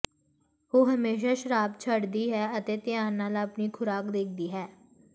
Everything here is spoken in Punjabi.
ਉਹ ਹਮੇਸ਼ਾ ਸ਼ਰਾਬ ਛੱਡਦੀ ਹੈ ਅਤੇ ਧਿਆਨ ਨਾਲ ਆਪਣੀ ਖੁਰਾਕ ਦੇਖਦੀ ਹੈ